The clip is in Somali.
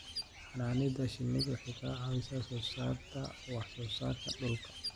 Xannaanada shinnidu waxay ka caawisaa soo saarista wax soo saarka dhuka.